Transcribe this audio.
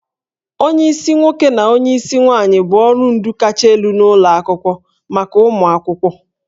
Onyeisi nwoke na onyeisi nwaanyị bụ ọrụ ndu kacha elu n'ụlọ akwụkwọ maka ụmụ akwụkwọ